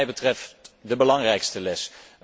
Dat is wat mij betreft de belangrijkste les.